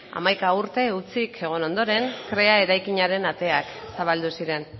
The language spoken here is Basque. hamaika urte hutsik egon ondoren krea eraikinaren ateak zabaldu ziren